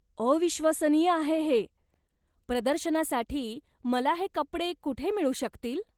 अविश्वसनीय आहे हे! प्रदर्शनासाठी मला हे कपडे कुठे मिळू शकतील?